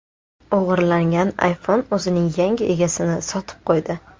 O‘g‘irlangan iPhone o‘zining yangi egasini sotib qo‘ydi.